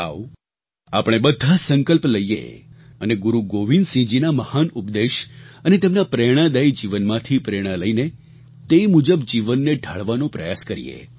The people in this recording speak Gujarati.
આવો આપણે બધાં સંકલ્પ લઈએ અને ગુરુ ગોવિંદસિંહજીના મહાન ઉપદેશ અને તેમના પ્રેરણાદાયી જીવનમાંથી પ્રેરણા લઈને તે મુજબ જીવનને ઢાળવાનો પ્રયાસ કરીએ